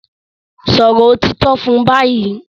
Sòrò òtítọ́ fún bayí!